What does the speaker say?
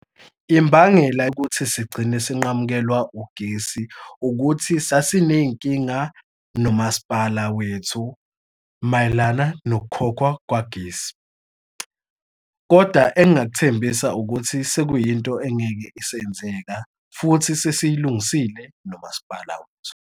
Imbangela yokuthi sigcine sinqamukelwa ugesi ukuthi sasiney'nkinga nomasipala wethu mayelana nokukhokhwa kwagesi. Kodwa engingakuthembisa ukuthi sekuyinto engeke isenzeka futhi sesiyilungisile nomasipala wethu.